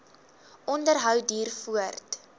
onderhou duur voort